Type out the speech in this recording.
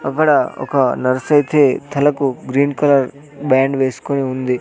అక్కడ ఒక నర్సైతే తలకు గ్రీన్ కలర్ బ్యాండ్ వేసుకొని ఉంది.